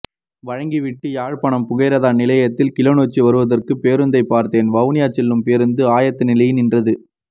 வழங்கி விட்டு யாழ்பாணம் புகையிரத நிலையத்தில் கிளிநொச்சி வருவதற்கு பேருந்தை பார்த்தேன் வவுனியா செல்லும் பேருந்து ஆயத்த நிலையில் நின்றது